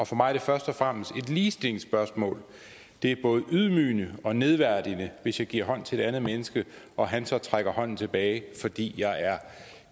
for mig er det først og fremmest et ligestillingsspørgsmål det er både ydmygende og nedværdigende hvis jeg giver hånd til et andet menneske og han så trækker hånden tilbage fordi jeg er